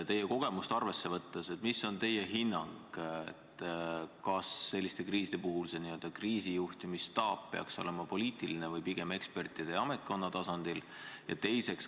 Oma kogemust arvesse võttes öelge, milline on teie hinnang – kas selliste kriiside puhul peaks see n-ö kriisijuhtimisstaap olema poliitiline või pigem ekspertide ja ametkonna tasandile tuginev?